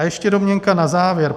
A ještě domněnka na závěr.